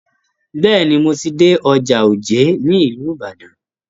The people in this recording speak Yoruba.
Bẹ́ẹ̀ni, mo ti dé ọjà òjé ní ìlú Ibadan.